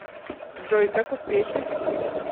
джой как успехи